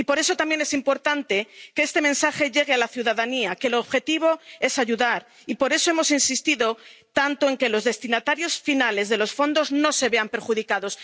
Y por eso también es importante que este mensaje llegue a la ciudadanía —que el objetivo es ayudar—, y por eso hemos insistido tanto en que los destinatarios finales de los fondos no se vean perjudicados.